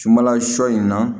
Sunbala sɔ in na